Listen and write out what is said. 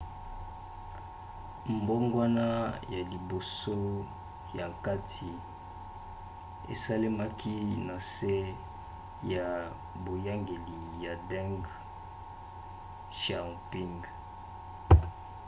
mbongwana ya liboso ya nkita esalemaki na nse ya boyangeli ya deng xiaoping